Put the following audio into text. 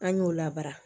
An y'o labara